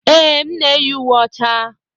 Ee, m na-eyi uwe ọcha.